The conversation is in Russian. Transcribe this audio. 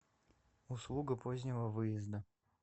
услуга позднего выезда